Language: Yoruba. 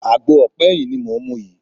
Àgbo ọ̀pá ẹyin ni mò ń mu yìí.